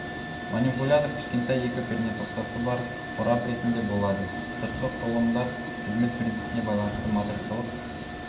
манипулятор кішкентай екі пернетақтасы бар қорап ретінде болады сыртқы құрылымдар қызмет принципіне байланысты матрицалық